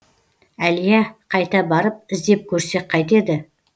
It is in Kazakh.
әлия қайта барып іздеп көрсек қайтеді